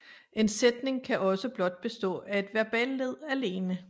En sætning kan også blot bestå af et verballed alene